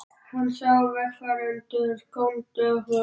Hann sá að vegfarendur góndu á þau.